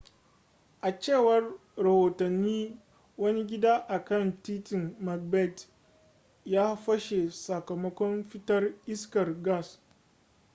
a cewar rahotanni wani gida a kan titin macbeth ya fashe sakamakon fitar iskar gas